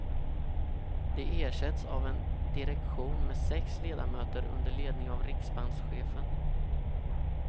De ersätts av en direktion med sex ledamöter under ledning av riksbankschefen.